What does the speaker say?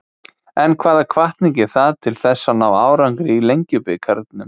En hvaða hvatning er það til þess að ná árangri í Lengjubikarnum?